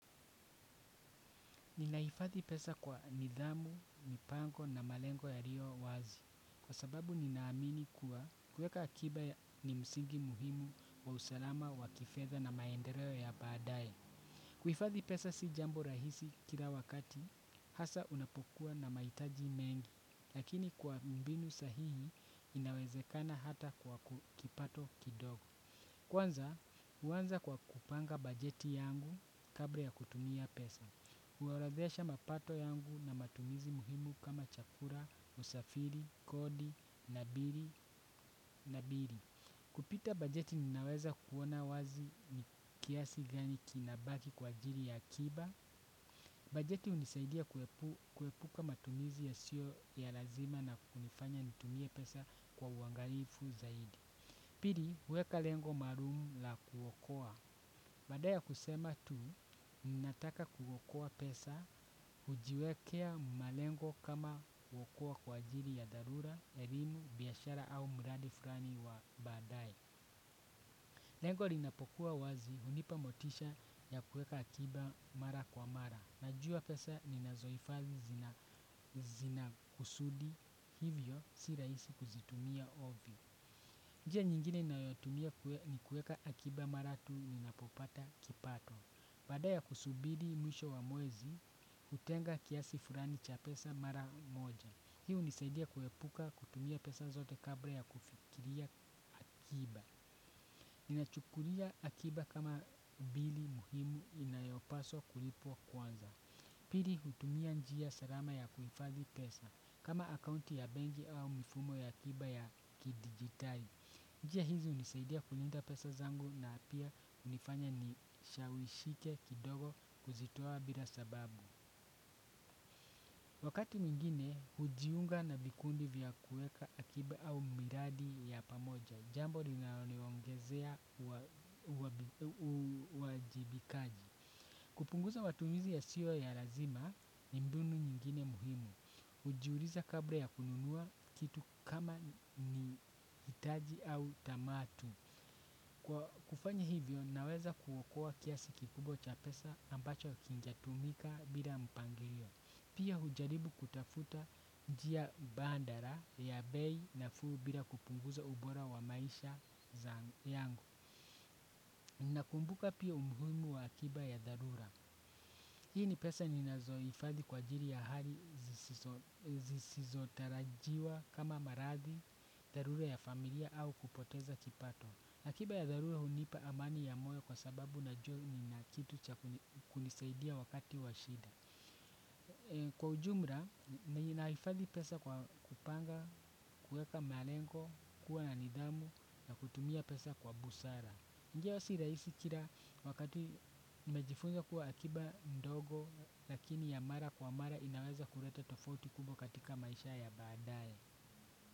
Ninaifathi pesa kwa nidhamu, mipango na malengo yaliyo wazi kwa sababu ninaamini kuwa kueka akiba ni msingi muhimu wa usalama wa kifedha na maendeleo ya baadaye. Kuifathi pesa si jambo rahisi kila wakati hasaa unapokuwa na mahitaji mengi lakini kwa mbinu sahihi inawezekana hata kwa kipato kidogo. Kwanza, uanza kwa kupanga bajeti yangu kabla ya kutumia pesa. Kuorodhesha mapato yangu na matumizi muhimu kama chakula, usafiri, kodi, na bili, na bili. Kupitia bajeti ninaweza kuona wazi ni kiasi gani kinabaki kwa ajiri ya kiba. Bajeti unisaidia kuepuka matumizi ya sio ya lazima na kunifanya nitumie pesa kwa uangalifu zaidi. Pili, huweka lengo maalum la kuokoa. Baada ya kusema tu, mimi nataka kuokoa pesa, hujiwekea malengo kama kuokoa kwa ajili ya dharura, elimu, biashara au mradi fulani wa badaye. Lengo linapokuwa wazi, unipa motisha ya kuweka akiba mara kwa mara. Najua pesa, ninazohifadhi zinakusudi hivyo, si rahisi kuzitumia ovyo. Njia nyingine ninayotumia ni kuweka akiba mara tu ninapopata kipato. Baada ya kusubiri mwisho wa mwezi, utenga kiasi fulani cha pesa mara moja. Hii unisaidia kuepuka kutumia pesa zote kabla ya kufikiria akiba. Ninachukulia akiba kama bili muhimu inayopaswa kulipwa kwanza. Pili hutumia njia salama ya kuhifadhi pesa, kama akaunti ya benki au mifumo ya akiba ya kidigitali. Njia hizi unisaidia kulinda pesa zangu na pia unifanya nisishawishike kidogo kuzitoa bila sababu. Wakati mwingine, hujiunga na vikundi vya kuweka akiba au miradi ya pamoja. Jambo linaloniongezea uwajibikaji. Kupunguza matumizi yasiyo ya lazima ni mbinu nyingine muhimu. Ujiuliza kabla ya kununua kitu kama ni hitaji au tamaa tu. Kufanya hivyo naweza kuokoa kiasi kikubwa cha pesa ambacho kingetumika bila mpangilio. Pia hujaribu kutafuta njia mbadala ya bei nafuu bila kupunguza ubora wa maisha yangu. Nakumbuka pia umuhimu wa akiba ya dharura. Hii ni pesa ninazoifadhi kwa ajili ya hali zisizotarajiwa kama maradhi, dharura ya familia au kupoteza kipato. Akiba ya dharura hunipa amani ya moyo kwa sababu najua nina kitu cha kunisaidia wakati wa shida. Kwa ujumla, ninahifadhi pesa kwa kupanga, kuweka malengo, kuwa na nidhamu na kutumia pesa kwa busara. Ndiyo si rahisi kila wakati, nimejifunza kuwa akiba ndogo lakini ya mara kwa mara inaweza kuleta tofauti kubwa katika maisha ya baadaye.